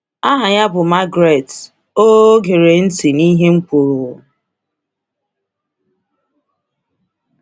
Aha ya bụ Margaret, o o gere ntị n’ihe m kwuru.